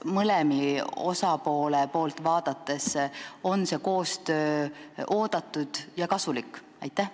Kas mõlema osapoole seisukohalt on see koostöö oodatud ja kasulik?